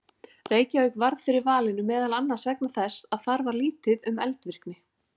Reykjavík varð fyrir valinu meðal annars vegna þess að þar var lítið um eldvirkni.